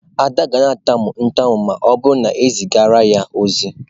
Ada ga-atamu ntamu ma o buru na ezigara ya ozi.